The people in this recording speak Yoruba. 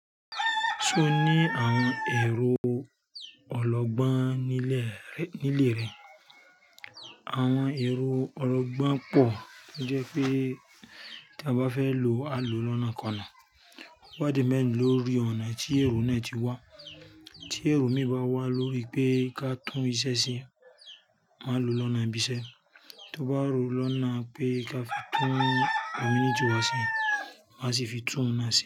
Túń ní àwọn ẹ̀rọ ọlọ́gbọ́n nílé rẹ̀. Àwọn ẹ̀rọ ọlọ́gbọ́n pọ̀ tó jẹ́ pé tí a bá fẹ́ lò, a lò lọ́nà kọ náà. Ó wá dé mẹ́rin lórí ọ̀nà tí ẹ̀rọ náà ti wá. Tí ẹ̀rọ mí bá wá lórí pé ká tún iṣẹ́ ṣe, máa lò lọ́nà ibi iṣẹ́. Tó bá rọ̀ lọ́nà pé káfi tún community wa ṣe asi fi tún òun na ṣe.